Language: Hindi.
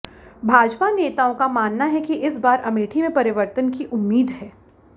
भाजपा नेताओं का मानना है कि इस बार अमेठी में परिवर्तन की उम्मीद है